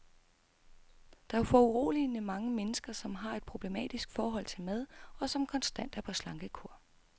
Der er foruroligende mange mennesker, som har et problematisk forhold til mad, og som konstant er på slankekur.